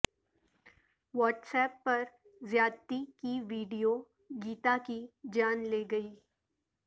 what's app پر زیادتی کی ویڈیو گیتا کی جان لے گئی